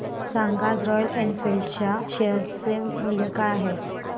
सांगा आज Royal Enfield च्या शेअर चे मूल्य काय आहे